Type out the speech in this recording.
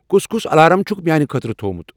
کُس کُس الارم چھُکھ میٲنہِ خٲطرٕ تھۄٚومُت